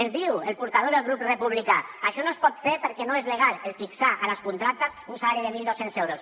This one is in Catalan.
ens diu el portaveu del grup republicà això no es pot fer perquè no és legal fixar a les contractes un salari de mil dos cents euros